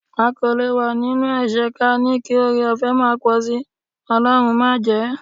A kò lè wà nínú ẹ̀ṣẹ̀ ka ní kí ọrẹọ̀fẹ́ máa pọ̀ sí, Ọlọ́run májẹ̀ẹ́.